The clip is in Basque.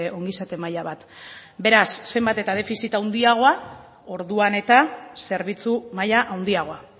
ongizate maila bat beraz zenbat eta defizit handiagoa orduan eta zerbitzu maila handiagoa